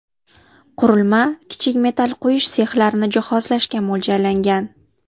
Qurilma kichik metal quyish sexlarini jihozlashga mo‘ljallangan.